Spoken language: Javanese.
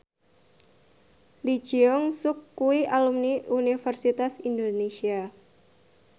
Lee Jeong Suk kuwi alumni Universitas Indonesia